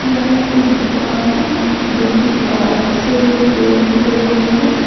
यह एक दुकान है जो की कार्स रिपेयर की लग रही है।